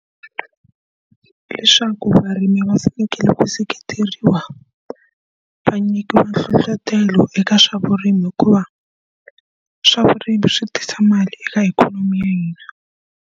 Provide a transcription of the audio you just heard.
Leswaku varimi va fanekele ku seketeriwa, va nyikiwa nhlohletelo eka swa vurimi hikuva swa vurimi swi tisa mali eka ikhonomi ya hina.